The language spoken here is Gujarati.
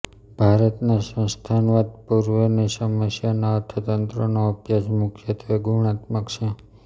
ભારતનાં સંસ્થાનવાદ પૂર્વેના સમયના અર્થતંત્રનો અભ્યાસ મુખ્યત્વે ગુણાત્મક છે